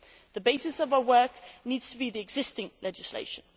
The basis of our work needs to be the existing legislation.